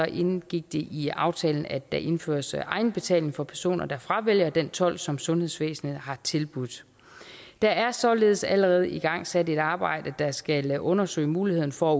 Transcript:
indgik det i aftalen at der indføres egenbetaling for personer der fravælger den tolk som sundhedsvæsenet har tilbudt der er således allerede igangsat et arbejde der skal undersøge mulighederne for